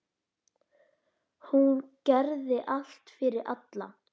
Hún gerði allt fyrir alla.